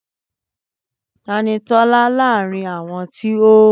Tani Tọ́la láàrin àwọn tí o